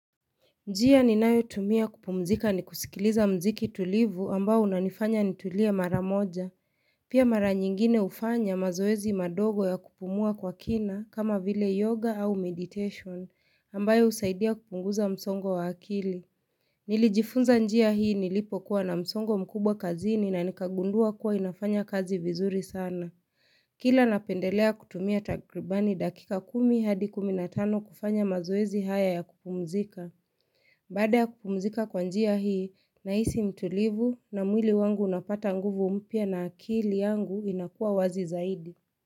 Njia ninayotumia kupumzika ni kusikiliza mziki tulivu ambayo unanifanya nitulie mara moja. Pia mara nyingine ufanya mazoezi madogo ya kupumua kwa kina kama vile yoga au meditation ambayo usaidia kupunguza msongo wa akili. Nilijifunza njia hii nilipokuwa na msongo mkubwa kazini na nikagundua kuwa inafanya kazi vizuri sana. Kila napendelea kutumia takribani dakika kumi hadi kumi na tano kufanya mazoezi haya ya kupumzika. Baada kupumzika kwa njia hii nahisi utulivu na mwili wangu unapata nguvu mpya na akili yangu inakuwa wazi zaidi.